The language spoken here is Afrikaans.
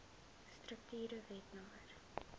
strukture wet no